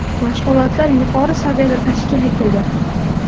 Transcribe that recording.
Mashg‘ulotlar yuqori saviyada tashkil etildi.